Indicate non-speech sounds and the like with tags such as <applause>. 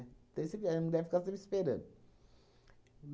Daí você <unintelligible> sempre esperando.